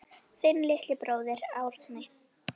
Þinn litli bróðir, Árni.